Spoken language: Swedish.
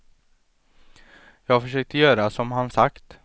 Jag försökte göra som han sagt.